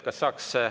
Kas saaks …